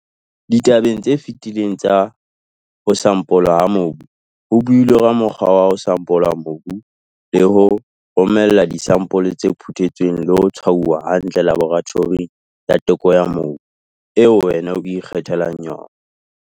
Ditabeng tse fetileng tsa "ho sampolwa ha mobu" ho builwe ka mokgwa wa ho sampola mobu le ho romella disampole tse phuthetsweng le ho tshwauwa hantle laboratoring ya teko ya mobu eo wena o ikgethelang yona.